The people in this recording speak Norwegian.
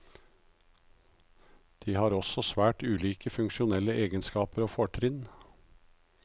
De har også svært ulike funksjonelle egenskaper og fortrinn.